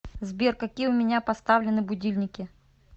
сбер какие у меня поставлены будильники